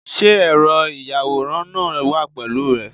Sé ẹ̀rọ ìyàwòrán náà wà pẹ̀lú rẹ?